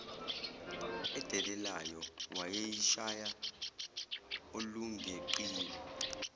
edelelayo wayeyishaya olungeqiwa